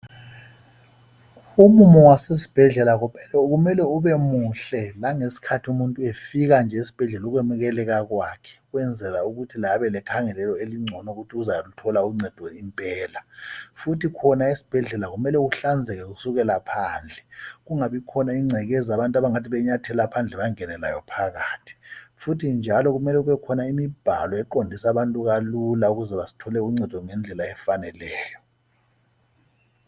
Umumo wasesibhedlela kumele kube muhle langesikhathi umuntu efika nje esibhedlela ukwenukelela kwakhe ukwenzela ukuthi laye abelekhangelelo elingcono ukuthi uzathola uncedo impela. Futhi khona esibhedlela kumele kuhlanzeke kusukela phandle. Kungabikhona ingcekeza abantu abangathi benyathela phandle bangene layo phakathi. Futhi njalo kumele kumbe khona imibhalo yokuqondisa abantu kalula ukuze bathole uncedo ngendlela efaneleyo.